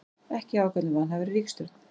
Ekki ákall um vanhæfari ríkisstjórn